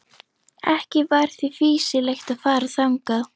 Ekki var því fýsilegt að fara þangað.